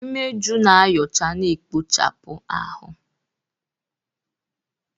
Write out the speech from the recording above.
Imeju na-ayocha na ekpochapụ ahụ.